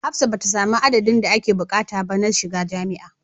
Hafsat bata sami addadin da ake bukata ba na shiga jamia